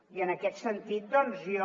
i en aquest sentit doncs jo